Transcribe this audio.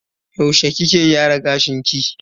Yaushe kike wanke gashin ki?